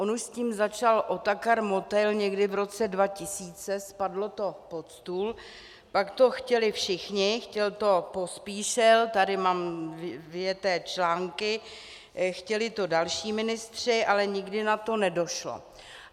On už s tím začal Otakar Motejl někdy v roce 2000, spadlo to pod stůl, pak to chtěli všichni, chtěl to Pospíšil, tady mám vyjeté články, chtěli to další ministři, ale nikdy na to nedošlo.